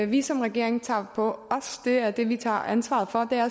vi som regering tager på os det er det vi tager ansvar for